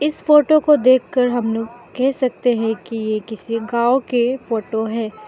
इस फोटो को देखकर हम लोग कह सकते हैं कि ये किसी गांव के फोटो है।